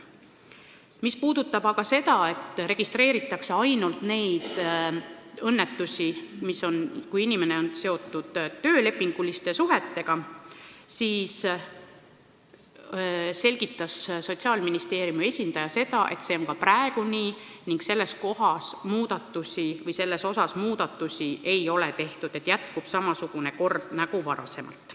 Mis puudutab aga seda, et õnnetusi registreeritakse ainult juhul, kui inimene on seotud töölepinguliste suhetega, siis Sotsiaalministeeriumi esindaja selgitas, et see on ka praegu nii ning selles ei ole muudatusi tehtud, jätkub samasugune kord nagu varem.